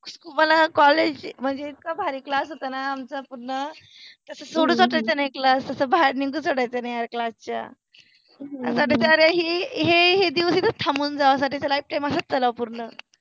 मुल कॉलेज चि मनजे इतक भारि क्लासहोत न आमचा पुर्ण तस सोडुन जाते न एक क्लास तस बाहेर निघायच्या नाहि क्लास च्या आता बिचारे हे हे दिवस इथ थाम्बुन जाव लाईफटाईम असच चालाव पुर्ण